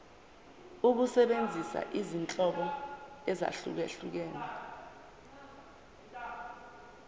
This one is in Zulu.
ukusebenzisa izinhlobo ezahlukehlukene